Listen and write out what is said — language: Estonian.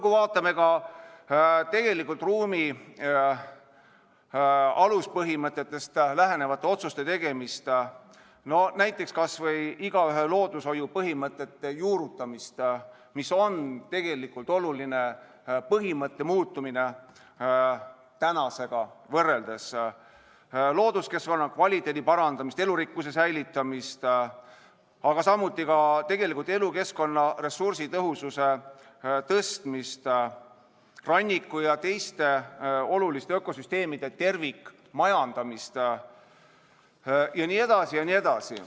Või vaatame ruumi aluspõhimõtetest lähtuvate otsuste tegemist, näiteks kas või igaühe loodushoiu põhimõtete juurutamist, mis on oluline põhimõtte muutumine tänasega võrreldes, looduskeskkonna kvaliteedi parandamist, elurikkuse säilitamist, aga samuti elukeskkonna ressursitõhususe tõstmist, ranniku ja teiste oluliste ökosüsteemide tervikmajandamist jne.